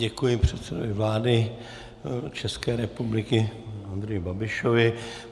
Děkuji předsedovi vlády České republiky Andreji Babišovi.